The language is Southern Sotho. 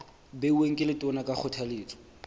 beuweng ke letona ka kgothaletso